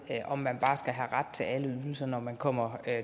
om man bare skal have ret til alle ydelser når man kommer